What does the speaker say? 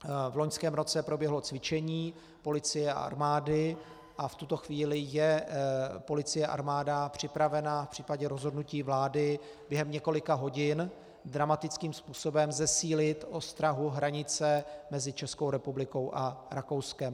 V loňském roce proběhlo cvičení policie a armády a v tuto chvíli je policie a armáda připravena v případě rozhodnutí vlády během několika hodin dramatickým způsobem zesílit ostrahu hranice mezi Českou republikou a Rakouskem.